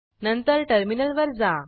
नंतर टर्मिनलवर जा